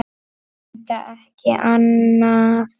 Enda ekki annað hægt.